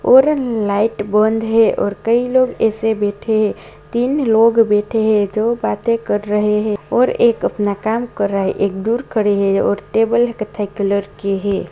और न लाइट बंद है और कई लोग ऐसे बैठे हैं तीन लोग बैठे हैं जो बाते कर रहे हैं और एक अपना काम कर रहा है एक दूर खड़े है और टेबल लेके कथई कलर की है।